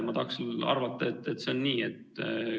Ma tahaksin küll arvata, et see on nii.